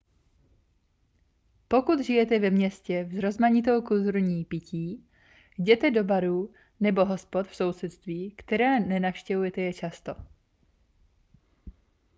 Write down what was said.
pokud žijete ve městě v rozmanitou kulturou pití jděte do barů nebo hospod v sousedství která nenavštěvujete často